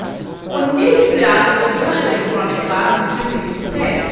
उनके ही प्रयास से यह इलेक्ट्रिक कार मुझे मिली है